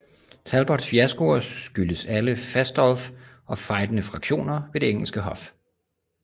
Talbots fiaskoer skyldes alle Fastolf og fejdende fraktioner ved det engelske hof